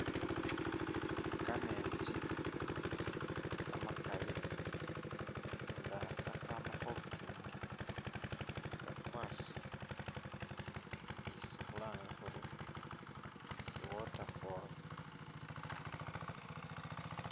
Kametsi kamakaali nga khakama khulunkinki kakwasi, isikhulanga khuri i'water fall